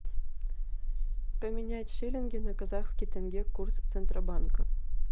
поменять шиллинги на казахские тенге курс центробанка